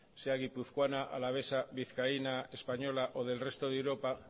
sea guipuzcoana alavesa vizcaína española o del resto de europa